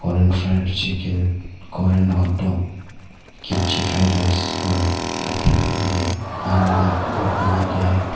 Korean fried chicken Korean hot dog kimchi fried rice laphing ये बाहर में है बोर्ड बना के है।